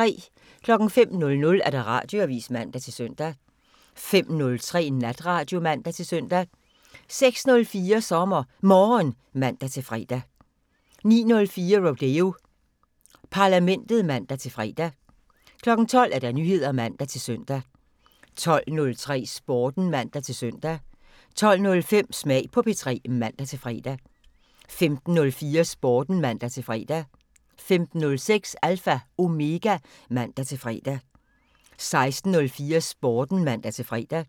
05:00: Radioavisen (man-søn) 05:03: Natradio (man-søn) 06:04: SommerMorgen (man-fre) 09:04: Rodeo Parlamentet (man-fre) 12:00: Nyheder (man-søn) 12:03: Sporten (man-søn) 12:05: Smag på P3 (man-fre) 15:04: Sporten (man-fre) 15:06: Alpha Omega (man-fre) 16:04: Sporten (man-fre)